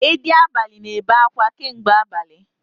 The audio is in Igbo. Edi abalị na-ebe akwa kamgbe abali